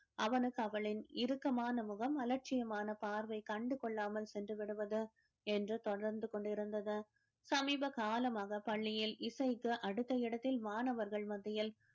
அவனுக்கு அவளின் இறுக்கமான முகம் அலட்சியமான பார்வை கண்டுகொள்ளாமல் சென்று விடுவது என்று தொடர்ந்து கொண்டிருந்தது சமீப காலமாக பள்ளியில் இசைக்கு அடுத்த இடத்தில் மாணவர்கள் மத்தியில்